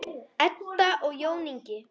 Edda og Jón Ingi.